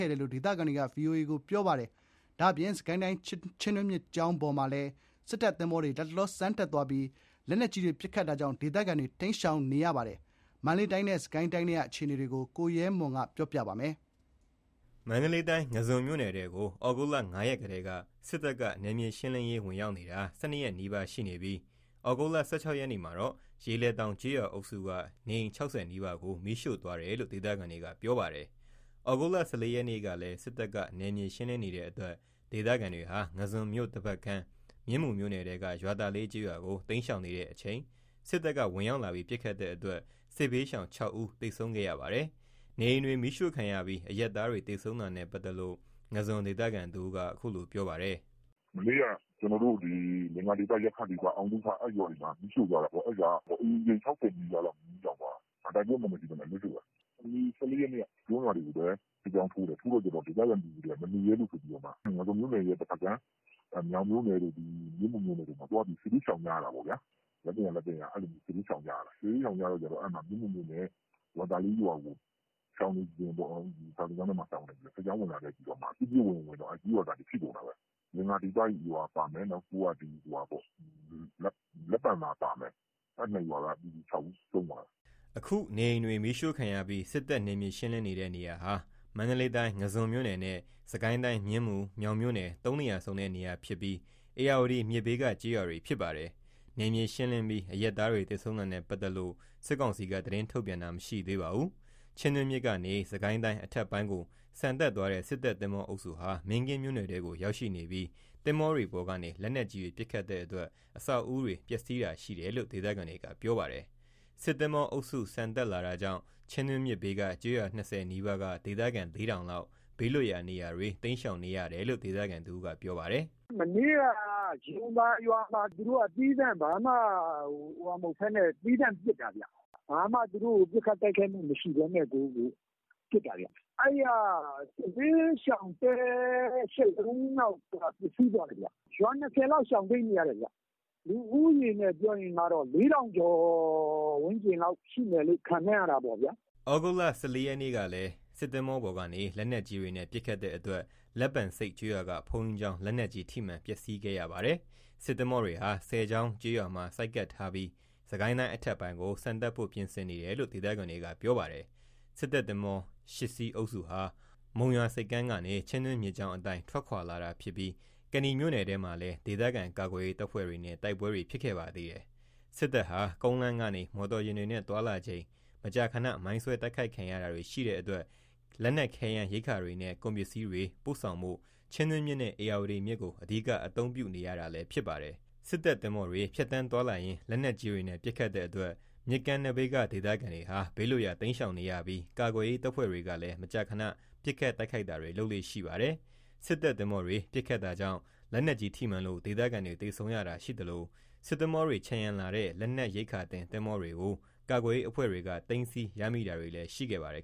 ဲ့တယ်လို့ ဒေသခံတွေက ပြောပါတယ်။ ဒီအတောအတွင်း ချင်းတွင်းမြစ်ကဆန်တက်သွားတဲ့ စစ်တပ်သင်္ဘောတွေလည်း မင်းကင်းမြို့နယ်ထဲကိုရောက်နေပြီး လက်နက်ကြီးတွေ ပစ်ခတ်တာကြောင့် မြစ်ဘေးကကျေးရွာ ၂၀ နီးပါးက ဒေသခံ ၄ ထောင်နီးပါး တိမ်းရှောင်နေ ရပါတယ်။ မန္တလေးတိုင်းနဲ့ စစ်ကိုင်းတိုင်းထဲက အခြေအနေတွေကို ကိုရဲမွန်က တင်ပြထားပါတယ်။ မန္တလေးတိုင်း ငါန်းဇွန်းမြို့နယ်ထဲကို သြဂုတ် ၅ ရက်ကတည်းက စစ်တပ်က နယ်မြေရှင်းနေတာ ၁၂ ရက် နီးပါးရှိနေပြီး သြဂုတ် ၁၆ ရက်နေ့မှာတော့ ရေလယ်သောင်ကျေးရွာအုပ်စုက နေအိမ် ၆၀ နီးပါးကို မီးရှို့သွားတယ်လို့ ဒေသခံတွေက ပြောပါတယ်။ သြဂုတ် ၁၄ ရက်နေ့ကလည်း စစ်တပ်က နယ်မြေရှင်းလင်းနေတဲ့အတွက် ဒေသခံတွေဟာ ငါးဇွန်မြို့တဘက်ကမ်း မြင်းမူမြို့နယ်ထဲက ရွာသာလေး ကျေးရွာကို တိမ်းရှောင်နေချိန် စစ်တပ်ကဝင်ပစ်တဲ့အတွက် စစ်ဘေးရှောင် (၆) ဦး သေဆုံးခဲ့ရပါတယ်။ နေအိမ်တွေမီးရှို့ခံရပြီး အရပ်သားတွေသေဆုံးတာနဲ့ပတ်သက်လို့ ငါန်းဇွန် ဒေသခံတဦးက အခုလို ပြောပြပါတယ်။ “မနေ့က ကျနော်တို့ ဒီ လင်္ကာဒီပ၊ ယက္ခဒီပ၊ အောင်သုခ အဲ့ရွာတွေမှာ မီးရှို့သွားတာပေါ့။ အဲ့ရွာတွေက အိမ်ခြေ ၆၀ နီးပါးလောက် မီးလောင်သွားတာ။ ဘာတိုက်ပွဲမှမရှိဘဲအလွတ်ရှို့တာ။ ၁၄ ရက်နေ့က ကျွန်းရွာတွေကိုလည်း စစ်ကြောင်းထိုးတယ်။ ဒေသခံပြည်သူတွေကမနေရဲလို့ဆိုပြီး ငါန်းဇွန်မြို့နယ် တဘက်ကမ်း မြောင်မြို့နယ်တို့၊ မြင်းမူမြို့နယ်တို့မှာသွားပြီး စစ်ဘေးရှောင်ကြရတာပေါ့။ လက်သင့်ရာစစ်ဘေးရှောင်ကြရတာ။ စစ်ဘေးရှောင်ကြတော့ မြင်းမူမြို့နယ် ရွာသာလေးရွာကို ရှောင်နေချိန်၊ စာသင်ကျောင်းထဲမှာ ရှောင်နေချိန် စစ်ကြောင်း ဝင်လာပြီးတော့မှ ပစ်ဝင် ဝင်တော့ ကျေးရွာသားတွေ ထိကုန်တာပဲ။ လင်္ကာဒီပ ရွာပါမယ်။ နောက်ပြီး လက်ပံသာပါမယ်။ အဲ့ ၂ ရွာက ပြည်သူ ၆ ဦး ဆုံးသွားတယ်။” အခု နေအိမ်တွေမီးရှို့ခံရပြီး စစ်တပ်နယ်မြေရှင်းလင်းနေတဲ့ နေရာဟာ မန္တလေးတိုင်း ငါန်းဇွန်မြို့နယ်နဲ့ စစ်ကိုင်းတိုင်း မြင်းမူ၊ မြောင်မြို့နယ် ၃ နေရာစုံတဲ့ နရာဖြစ်ပြီး ဧရာဝတီမြစ်ဘေးက ကျေးရွာတွေ ဖြစ်ပါတယ်။ နယ်မြေ ရှင်းလင်းပြီး အရပ်သားတွေ သေဆုံးတာနဲ့ပတ်သက်လို့ စစ်ကောင်စီက သတင်းထုတ်ပြန်တာ မရှိသေးပါဘူး။ ချင်းတွင်းမြစ်ကနေ စစ်ကိုင်းတိုင်း အထက်ပိုင်းကို ဆန်တက်သွားတဲ့ စစ်တပ် သင်္ဘောအုပ်စုဟာ မင်းကင်းမြို့နယ်ထဲကို ရောက်ရှိနေပြီး သင်္ဘောတွေပေါ်ကနေ လက်နက်ကြီးတွေ ပစ်ခတ်တဲ့အတွက် အဆောက်အဦးတွေပျက်စီးတာ ရှိတယ်လို့ ဒေသခံတွေက ပြောပါတယ်။ စစ်သင်္ဘောအုပ်စု ဆန်တက်လာတာကြောင့် ချင်းတွင်းမြစ်ဘေးက ကျေးရွာ ၂၀ နီးပါးက ဒေသခံ ၄ ထောင်လောက် ဘေးလွတ်ရာ တိမ်းရှောင်နေရတယ်လို့ ဒေသခံတဦးက ပြောပါတယ်။ “မနေ့က ယုံသာရွာမှာ သီးသန့် သူတို့က ဘာမှမဟုတ်ဘဲနဲ့ သီးသန့်ပစ်တာ။ ဘာမှ သူတို့ကို ပစ်ခတ်တိုက်ခိုက်မှုမရှိဘဲနဲ့ကို ပစ်တာ။ အဲ့က စစ်ဘေးရှောင်တဲ ၈ လုံးလောက် ပျက်စီးသွားတယ်။ ရွာ ၂၀ လောက်ရှောင်တိမ်းနေရတယ်။ လူဦးရေအနေနဲ့ ၄ ထောင်ကျော်ဝန်းကျင်လောက် ရှိမယ်လို့ ခန့်မှန်းရတာပေါ့ဗျာ။” သြဂုတ်လ ၁၄ ရက်ကလည်း စစ်သင်္ဘောပေါ်ကနေ လက်နက်ကြီးတွေနဲ့ ပစ်ခတ်တဲ့အတွက် လက်ပံဆိပ်ကျေးရွာကဘုန်းကြီးကျောင်း လက်နက်ကြီး ထိမှန် ပျက်စီးခဲ့ရပါတယ်။ စစ်သင်္ဘောတွေဟာ ဆည်ချောင်းကျေးရွာမှာ ဆိုက်ကပ်ထားပြီး စစ်ကိုင်းတိုင်းအထက်ပိုင်းကို ဆန်တက်ဖို့ပြင်ဆင်နေတယ်လို့ ဒေသခံတွေက ပြောပါတယ်။ စစ်တပ်သင်္ဘော ၈ စီး အုပ်စုဟာ သြဂုတ်လအစောပိုင်းကစလို့ မုံရွာ ဆိပ်ကမ်းကနေ ချင်းတွင်းမြစ်ကြောင်းအတိုင်း ထွက်ခွာလာတာဖြစ်ပြီး ကနီမြို့နယ်ထဲမှာလည်း ဒေသခံကာကွယ်ရေးတပ်ဖွဲ့တွေနဲ့ တိုက်ပွဲတွေ ဖြစ်ခဲ့ပါသေးတယ်။ စစ်တပ်ဟာ ကုန်းလမ်းကနေ မော်တော်ယာဉ်တွေနဲ့သွားလာချိန် မကြာခဏ မိုင်းဆွဲတိုက်ခိုက်ခံရတာတွေ ရှိတဲ့အတွက် ခဲယမ်းရိက္ခာတွေနဲ့ ကုန်ပစ္စည်းတွေ ပို့ဆောင်ဖို့ ချင်းတွင်းမြစ်နဲ့ ဧရာဝတီမြစ်ကို အဓိကအသုံးပြုနေရတာလည်း ဖြစ်ပါတယ်။ စစ်တပ်သင်္ဘောတွေ ဖြတ်သန်းသွားလာရင်း လက်နက်ကြီးတွေနဲ့ ပစ်ခတ်တဲ့အတွက် မြစ်ကမ်းနဘေးက ဒေသခံတွေဟာ ဘေးလွတ်ရာတိမ်းရှောင်ရပြီး ကာကွယ်ရေးတပ်ဖွဲ့တွေကလည်း မကြာခဏ ပစ်ခတ်တိုက်ခိုက်တာတွေ လုပ်လေ့ရှိပါတယ်။ စစ်တပ်သင်္ဘောတွေကပစ်ခတ်တာကြောင့် လက်နက်ကြီးထိမှန်လို့ ဒေသခံတွေ သေဆုံးရတာလည်း ရှိသလို စစ်သင်္ဘောတွေကို ခြံရံလာတဲ့ လက်နက်ရိက္ခာတင် သင်္ဘောတွေကို ကာကွယ်ရေးအဖွဲ့တွေက သိမ်းဆည်းရမိတာတွေလည်း ရှိခဲ့ပါတယ်